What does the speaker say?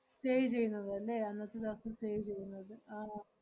stay ചെയ്യുന്നത് അല്ലേ? അന്നത്തെ ദെവസം stay ചെയ്യുന്നത് ആഹ്